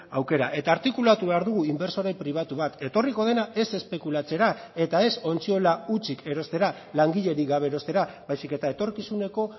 aukera eta artikulatu behar dugu inbertsore pribatu bat etorriko dena ez espekulatzera eta ez ontziola hutsik erostera langilerik gabe erostera baizik eta etorkizuneko